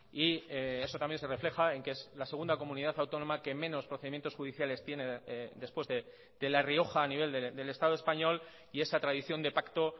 y eso también se refleja en que es la segunda comunidad autónoma que menos procedimientos judiciales tiene después de la rioja a nivel del estado español y esa tradición de pacto